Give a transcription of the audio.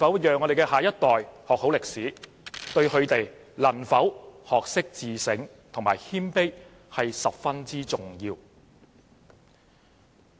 讓下一代學好歷史，對他們能否學會自省和謙卑十分重要。